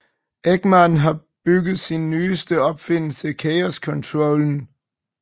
Eggman har bygget sin nyeste opfindelse Chaos Controllen